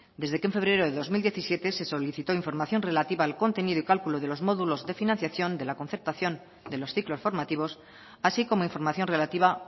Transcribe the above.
desde que en febrero de dos mil diecisiete se solicitó información relativa al contenido y cálculo de los módulos de financiación de la concertación de los ciclos formativos así como información relativa